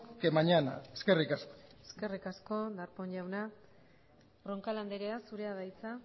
que mañana eskerrik asko eskerrik asko darpón jauna roncal andrea zurea da hitza